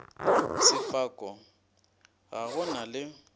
sefako ga go na le